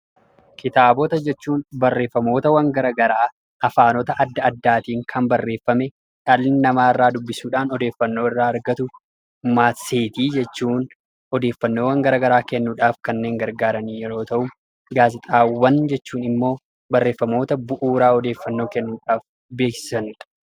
Kitaabota jechuun barreeffamootawwan gara garaa afaanota adda addaatiin kan barreeffame, dhalli namaa irraa dubbisuudhaan odeeffannoo irraa argatu, maatseetii jechuun odeeffannoowwan gara garaa kennuudhaaf kanneen gargaaran yeroo ta'u, gaazexaawwan jechuun immoo barreeffamoota bu'uuraa odeeffannoo kennuudhaaf beeksisanidha.